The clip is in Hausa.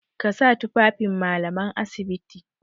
Ka sa tufafin Mallaman asibiti!